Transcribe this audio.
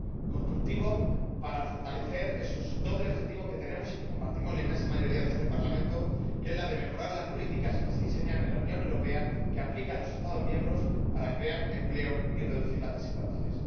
Constructivo, para fortalecer ese doble objetivo que tenemos —y que compartimos la inmensa mayoría de este Parlamento— que es el de mejorar las políticas que se diseñan en la Unión Europea —y que aplican los Estados miembros— para crear empleo y reducir las desigualdades.